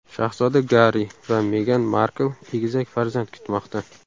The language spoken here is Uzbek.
Shahzoda Garri va Megan Markl egizak farzand kutmoqda.